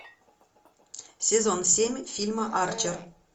сезон семь фильма арчер